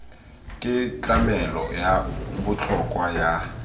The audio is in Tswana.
ke tlamelo ya botlhokwa ya